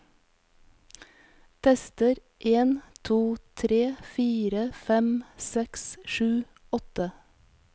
Tester en to tre fire fem seks sju åtte